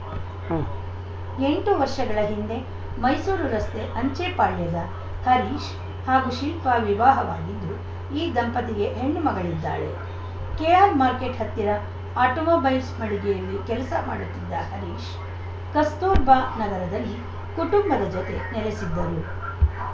ಉಂ ಎಂಟು ವರ್ಷಗಳ ಹಿಂದೆ ಮೈಸೂರು ರಸ್ತೆ ಅಂಚೆಪಾಳ್ಯದ ಹರೀಶ್‌ ಹಾಗೂ ಶಿಲ್ಪಾ ವಿವಾಹವಾಗಿದ್ದು ಈ ದಂಪತಿಗೆ ಹೆಣ್ಣು ಮಗಳಿದ್ದಾಳೆ ಕೆಆರ್‌ಮಾರ್ಕೆಟ್‌ ಹತ್ತಿರ ಆಟೋಮೊಬೈಲ್ಸ್‌ ಮಳಿಗೆಯಲ್ಲಿ ಕೆಲಸ ಮಾಡುತ್ತಿದ್ದ ಹರೀಶ್‌ ಕಸ್ತೂರ್ಬಾ ನಗರದಲ್ಲಿ ಕುಟುಂಬದ ಜತೆ ನೆಲೆಸಿದ್ದರು